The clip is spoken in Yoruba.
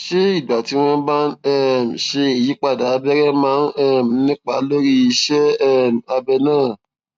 ṣé ìgbà tí wọ́n bá ń um ṣe ìyípadà abẹrẹ máa ń um nípa lórí iṣé um abẹ náà